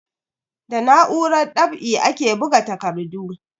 Da na'urar ɗab'i ake buga takardu.